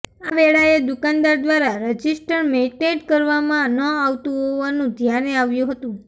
આ વેળાએ દુકાનદાર દ્વારા રજિસ્ટર મેઇન્ટેઇન કરવામાં ન આવતું હોવાનું ધ્યાને આવ્યું હતું